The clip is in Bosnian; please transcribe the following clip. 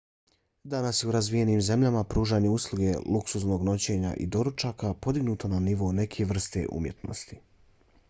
danas je u razvijenim zemljama pružanje usluge lugsuznog noćenja i doručaka podignuto na nivo neke vrste umjetnosti